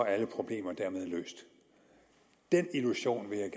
alle problemer dermed løst den illusion vil jeg